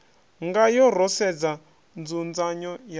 ngayo ro sedza nzudzanyo ya